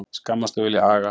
Skammast og vilja aga